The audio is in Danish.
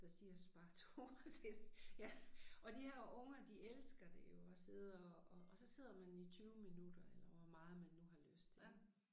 Der siger spar 2 til ja og de her unger de elsker det jo at sidde og og og så sidder man i 20 minutter eller hvor meget man nu har lyst til